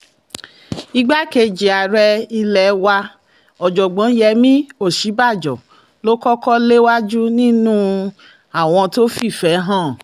igbákejì ààrẹ ilé wa ọ̀jọ̀gbọ́n yemí òsínbàjò ló kọ́kọ́ léwájú nínú àwọn tó fìfẹ́ hàn